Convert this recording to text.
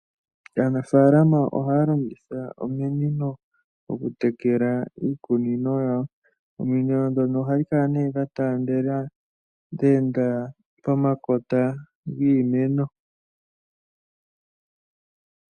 Aanafaalama ohaya longitha ominino oku tekela iikunino yawo. Ominino ndhono ohadhi kala nee dha taandela, dhe enda pomakota giimeno.